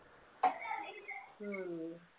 ഉം